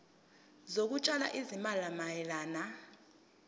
zokutshala izimali mayelana